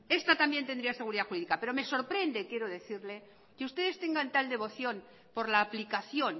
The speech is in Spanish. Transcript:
esta también tendría seguridad jurídica pero me sorprende y quiero decirle que ustedes tengan tal devoción por la aplicación